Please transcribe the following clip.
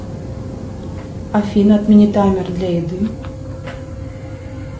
афина отмени таймер для еды